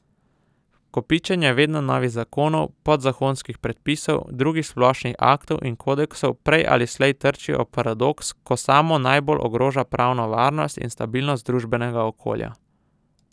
Kopičenje vedno novih zakonov, podzakonskih predpisov, drugih splošnih aktov in kodeksov prej ali slej trči ob paradoks, ko samo najbolj ogroža pravno varnost in stabilnost družbenega okolja.